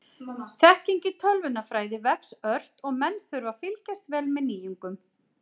Þekking í tölvunarfræði vex ört og menn þurfa að fylgjast vel með nýjungum.